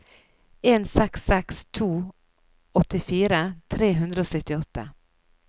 en seks seks to åttifire tre hundre og syttiåtte